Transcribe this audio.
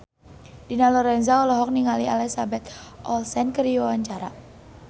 Dina Lorenza olohok ningali Elizabeth Olsen keur diwawancara